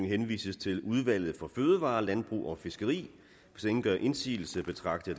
henvises til udvalget for fødevarer landbrug og fiskeri hvis ingen gør indsigelse betragter